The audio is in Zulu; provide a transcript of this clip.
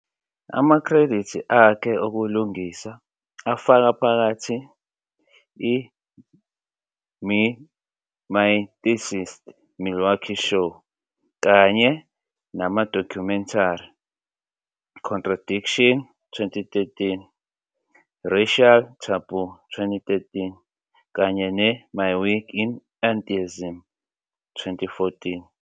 "Amakhredithi akhe okulingisa" afaka phakathi "i-Mythicist Milwaukee Show", kanye nama-documentary "Contradiction", 2013, "Racial Taboo", 2013, kanye ne-"My Week in Atheism", 2014.